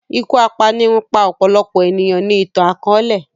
Iku apanirun pa ọpọlọpọ eniyan ni itan-akọọlẹ